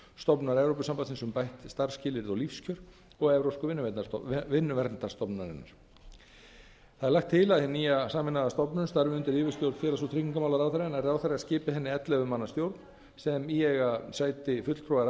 stofnunar evrópusambandsins um bætt starfsskilyrði og lífskjör og evrópsku vinnuverndarstofnunarinnar það er lagt til að hin nýja sameinaða stofnun starfi undir yfirstjórn félags og tryggingamálaráðherra en ráðherra skipi henni ellefu manna stjórn sem í eiga sæti